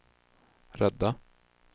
rädda